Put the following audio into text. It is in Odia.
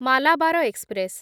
ମାଲାବାର ଏକ୍ସପ୍ରେସ୍